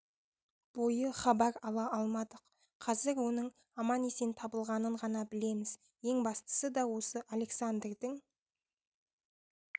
бойы хабар ала алмадық қазір оның аман-есен табылғанын ғана білеміз ең бастысы да осы александрдің